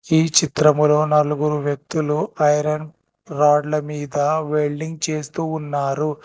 ఈ చిత్రములో నలుగురు వ్యక్తులు ఐరన్ రాడ్ల మీద వెల్డింగ్ చేస్తూ ఉన్నారు.